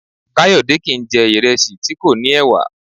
Kayode kìí n jẹ̀ ìrẹsì tí kò ní ẹ̀wà